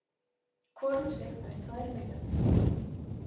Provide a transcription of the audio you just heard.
Hvor um sig fær tvær milljónir